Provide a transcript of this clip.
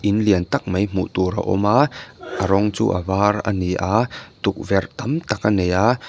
in lian tak mai hmuh tur a awm a a rawng chu a var a ni a tukverh tam tak a nei aaa.